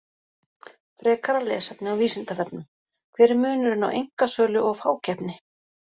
Frekara lesefni á Vísindavefnum: Hver er munurinn á einkasölu og fákeppni?